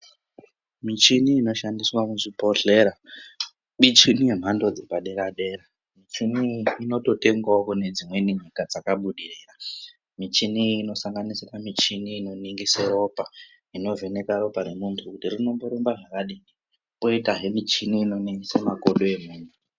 Michini inoshandiswa muzvibhodhlera michini yemhando dzepadera-dera. Michini iyi inototengwavo kune dzimweni nyika dzakabudirira. Michini iyi inosanganisire michini inoningise ropa inovheneka ropa remuntu kuti rinomborumba zvakadini. Koitazve michini inoningisa makodo emuntu.